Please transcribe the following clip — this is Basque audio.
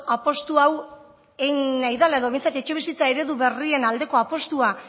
apustu hau egin nahi dela edo behintzat etxebizitza eredu berrien aldeko apustua